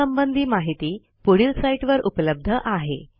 यासंबंधी माहिती पुढील साईटवर उपलब्ध आहे